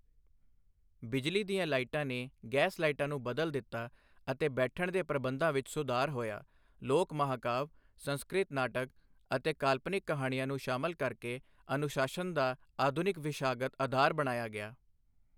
ਬਿਜਲੀ ਦੀਆਂ ਲਾਈਟਾਂ ਨੇ ਗੈਸ ਲਾਈਟਾਂ ਨੂੰ ਬਦਲ ਦਿੱਤਾ ਅਤੇ ਬੈਠਣ ਦੇ ਪ੍ਰਬੰਧਾਂ ਵਿੱਚ ਸੁਧਾਰ ਹੋਇਆ ਲੋਕ ਮਹਾਂਕਾਵਿ, ਸੰਸਕ੍ਰਿਤ ਨਾਟਕ ਅਤੇ ਕਾਲਪਨਿਕ ਕਹਾਣੀਆਂ ਨੂੰ ਸ਼ਾਮਲ ਕਰਕੇ ਅਨੁਸ਼ਾਸਨ ਦਾ ਆਧੁਨਿਕ ਵਿਸ਼ਾਗਤ ਅਧਾਰ ਬਣਾਇਆ ਗਿਆ।